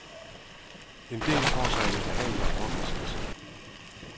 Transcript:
En del får sig en ubehagelig overraskelse.